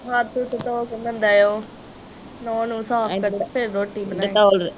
ਹੱਥ ਹੁਥ ਧੋ ਕੇ ਬੰਦਾ ਉਹ ਨੋਹ ਨੂਹ ਸਾਫ ਕਰੇ ਤੇ ਫਿਰ ਰੋਟੀ ਬਣਾਏ